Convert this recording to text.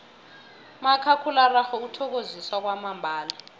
umakhakhulararhwe uthokozisa kwamambala